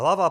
Hlava